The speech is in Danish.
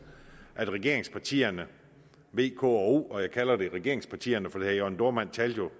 at regeringspartierne v k og o og jeg kalder dem regeringspartierne for herre jørn dohrmann talte